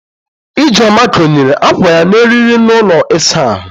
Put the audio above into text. Ijeoma konyere akwa ya n'eriri n'ụlọ ịsa ahụ